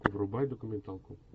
врубай документалку